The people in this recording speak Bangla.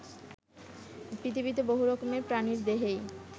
পৃথিবীতে বহু রকমের প্রাণীর দেহেই